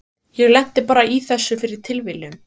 Ég lenti bara í þessu fyrir tilviljun.